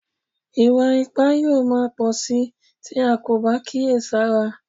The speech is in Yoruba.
Ìwà ipá yóò máa pọ̀ síi tí a kò bá kíyè sára